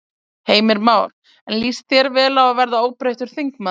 Heimir Már: En líst þér vel á að verða óbreyttur þingmaður?